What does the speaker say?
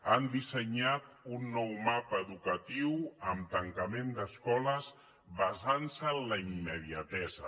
han dissenyat un nou mapa educatiu amb tancament d’escoles basant se en la immediatesa